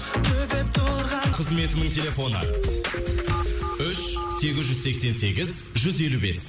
қызметінің телефоны үш сегіз жүз сексен сегіз жүз елу бес